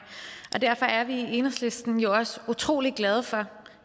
og derfor er vi i enhedslisten også utrolig glade for